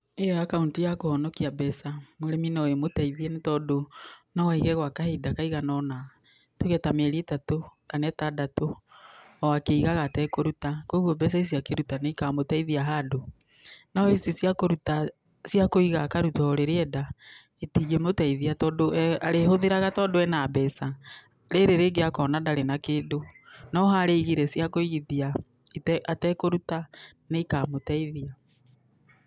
Ĩyo akaũnti ya kũhonokia mbeca, mũrĩmi noĩmũteithie tondũ noaige kahinda kaigana ona, tuge ta mĩeri ĩtatũ, kana ĩtandatũ, oakĩigaga etekũruta. Koguo mbeca icio akĩruta nĩikamũteithia handũ. No ici cia kũruta, cia kũiga akaruta orĩrĩa enda, itingĩmũteithia tondũ arĩhũthĩraga tondũ ena mbeca, rĩrĩ rĩngĩ akona ndarĩ na kĩndũ. No harĩa aigire cia kũigithia atarĩ na kũruta, nĩ ikamũteithia.